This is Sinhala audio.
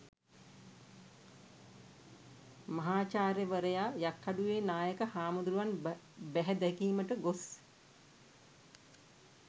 මහාචාර්යවරයා යක්කඩුවේ නායක හාමුදුරුවන් බැහැදැකීමට ගොස්